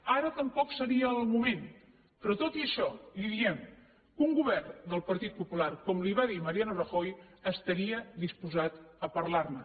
ara tampoc seria el moment però tot i això li diem que un govern del partit popular com li va dir mariano rajoy estaria disposat a parlar ne